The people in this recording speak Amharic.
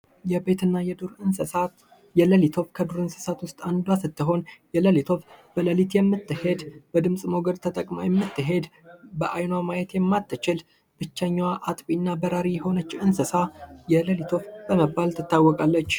የቤትና የዱር እንስሳት የሌሊት ወፍ ከዱር እንስሳት ውስጥ አንዱ ስትሆን የሌሊት ወፍ በሌሊት የምትሄድ በድምጽ ሞገድ ተጠቅማ የምትሄድ አይኗ ማየት የማትችል ብቸኛ አጥቢ እና በራሪ የሆነች እንስሳ የለሊት ወፍ በመባል ትታወቃለች።